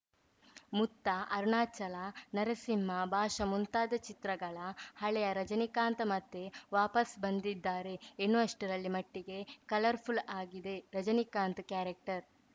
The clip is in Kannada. ಮುತ್ತ ಅರುಣಾಚಲ ನರಸಿಂಹ ಭಾಷಾ ಮುಂತಾದ ಚಿತ್ರಗಳ ಹಳೆಯ ರಜನಿಕಾಂತ್‌ ಮತ್ತೆ ವಾಪಸ್ಸು ಬಂದಿದ್ದಾರೆ ಎನ್ನುವಷ್ಟರಲ್ಲಿ ಮಟ್ಟಿಗೆ ಕಲರ್‌ಫುಲ್‌ ಆಗಿದೆ ರಜನಿಕಾಂತ್‌ ಕ್ಯಾರೆಕ್ಟರ್‌